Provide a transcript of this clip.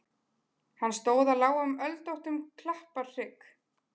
Hann stóð á lágum öldóttum klapparhrygg.